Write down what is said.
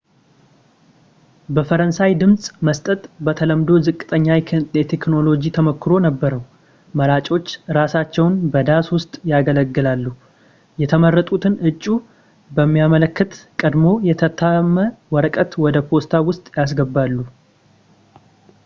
በፈረንሳይ ድምጽ መስጠት በተለምዶ ዝቅተኛ የቴክኖሎጂ ተሞክሮ ነበረው፥ መራጮች እራሳቸውን በዳስ ውስጥ ያገለሉ ፣ የመረጡትን እጩ የሚያመለክት ቀድሞ-የታተመ ወረቀት ወደ ፖስታ ውስጥ ያስገባሉ